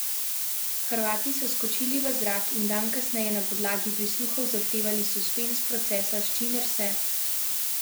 Hrvati so skočili v zrak in dan kasneje na podlagi prisluhov zahtevali suspenz procesa, s čimer se Slovenija ni strinjala.